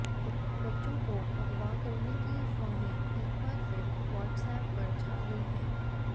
बच्चों को अगवा करने की अफवाहें एक बार फिर व्हाट्सएप पर छा गई हैं